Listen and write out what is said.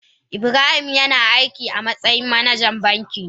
Ibrahim yana aiki a matsayin managa a banki.